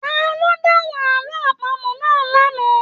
Taló dahùn àlọ àpamọ̀ náà l'ana?